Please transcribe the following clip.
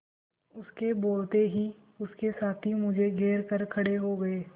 उसके बोलते ही उसके साथी मुझे घेर कर खड़े हो गए